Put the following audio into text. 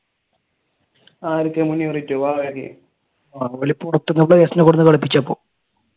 ആരൊക്കെ ?